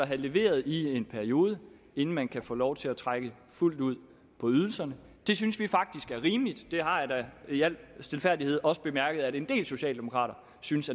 have leveret i en periode inden man kan få lov til at trække fuldt ud på ydelserne det synes vi faktisk er rimeligt det har jeg da i al stilfærdighed også bemærket at en del socialdemokrater synes